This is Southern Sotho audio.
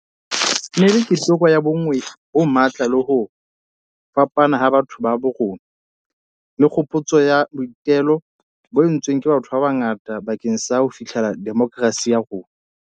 E ne e le keteko ya bonngwe bo matla le ho fapana ha batho ba bo rona, le kgopotso ya boitelo bo entsweng ke batho ba bangata bakeng sa ho fihlella demokerasi ya rona.